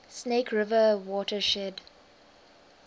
snake river watershed